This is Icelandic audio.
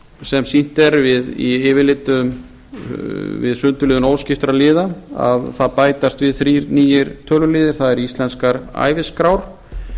sem sýnt er í yfirlitum við sundurliðun óskiptra liða að það bætast við þrír nýir töluliðir það eru íslenskar æviskrár